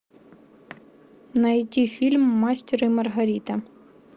найти фильм мастер и маргарита